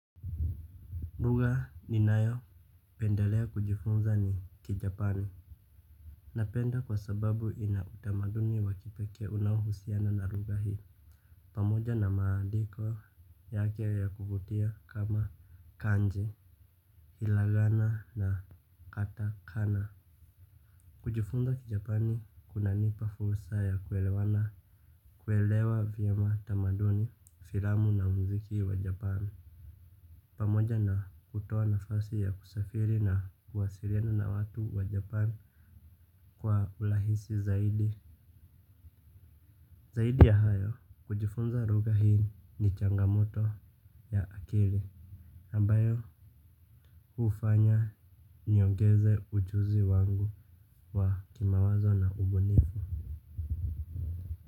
Lugha ninayopendelea kujifunza ni kijapani. Napenda kwa sababu ina utamaduni wa kipekee unaohusiana na lugha hii. Pamoja na maandiko yake ya kuvutia kama kanji ilagana na katakana. Kujifunza kijapani kunanipa fursa ya kuelewa vyema tamaduni filamu na mziki wa japani. Pamoja na kutoa nafasi ya kusafiri na kwasiliana na watu wa japan kwa urahisi zaidi. Zaidi ya hayo kujifunza lugha hii ni changamoto ya akili. Ambayo hufanya niongeze ujuzi wangu wa kimawazo na ubunifu.